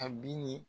A bi ni